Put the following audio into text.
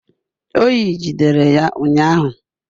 Oyi jidere ya ụnyahụ